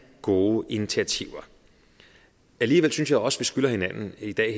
gode initiativer alligevel synes jeg også vi skylder hinanden her i dag